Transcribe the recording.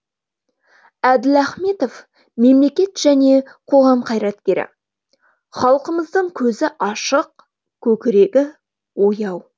әділ ахметов мемлекет және қоғам қайраткері халқымыздың көзі ашық көкірегі ояу